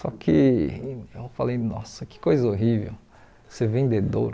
Só que eu falei, nossa, que coisa horrível ser vendedor.